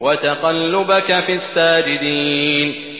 وَتَقَلُّبَكَ فِي السَّاجِدِينَ